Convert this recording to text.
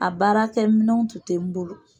A baara kɛ minɛnw tun tɛ n bolo